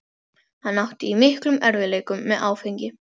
Hann átti í miklum erfiðleikum með áfengi.